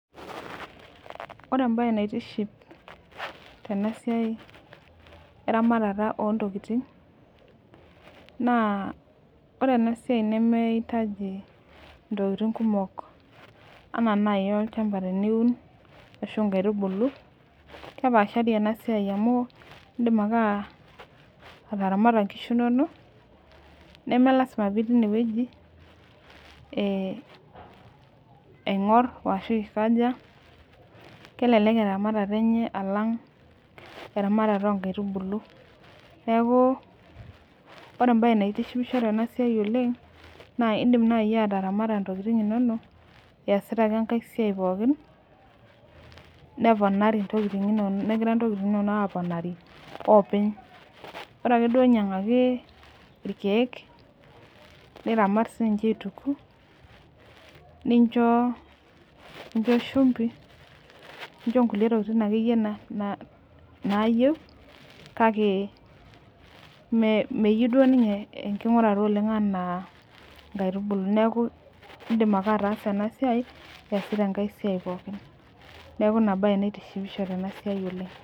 Ore embae naitiship tenasiai eramatata ontokitin na ore enasia nimiitaji ntokitin kumok ana nai olchamba teniun ashu nkaitubulu kepaashari enasia amu indim ake ataramata nkishu inonok nemelasima pitii inewueji aingur ashu aikaja kelelek eramatare enye alang eramatare onkaitubulu neaku ore embae naitishipisho tenasiai oleng na indim nai ataramata ntokitin inonok easita ake enkae siai pooki negira ntokitin inonok aponari openy bora ake nyangaki irkiek niramat aituku nincho shumbi nincho nkulie tokitin nayieu kake meyiou duo nye enkungurata oleng anaa nkaitubulu neaku indim ake atasa enasiai iasita enkae siai pooki.